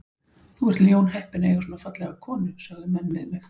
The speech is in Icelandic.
Þú ert ljónheppinn að eiga svona fallega konu sögðu menn við mig.